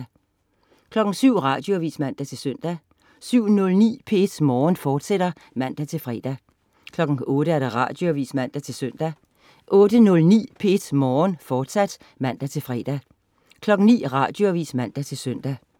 07.00 Radioavis (man-søn) 07.09 P1 Morgen, fortsat (man-fre) 08.00 Radioavis (man-søn) 08.09 P1 Morgen, fortsat (man-fre) 09.00 Radioavis (man-søn)